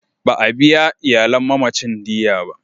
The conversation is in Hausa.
Ba a biya iyalin mamacin diyya ba.